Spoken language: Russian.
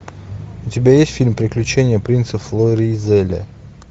у тебя есть фильм приключения принца флоризеля